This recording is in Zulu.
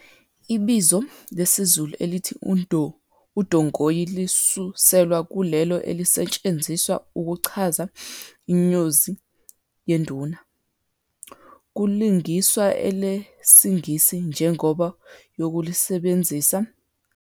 Ibizo lesizulu elithi udongoyi lisuselwa kulelo elisetshenziswa ukuchaza inyozi yeduna, kulingiswa elesingisi, ngenjongo yokulisebenzisa indizana endiza ngaphandle komuntu okhwele kuyo. Leli bizo elithi udongoyi yilona okubonakele ukuba liyafaneleka, esikhubdleni sokuthi kusetshenziswe elesingis.